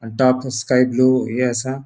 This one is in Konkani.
डार्क स्काय ब्लू हे असा.